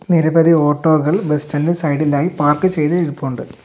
നിരവധി ഓട്ടോകൾ bus stand ഇൻറെ സൈഡിലായി പാർക്ക് ചെയ്ത് ഇരിപ്പുണ്ട്.